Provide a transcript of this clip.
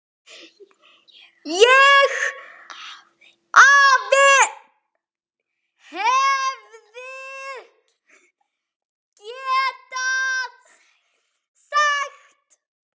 ÉG HEFÐI GETAÐ SAGT